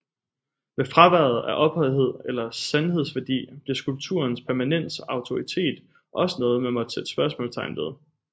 Med fraværet af ophøjethed eller sandhedsværdi blev skulpturens permanens og autoritet også noget man måtte sætte spørgsmålstegn ved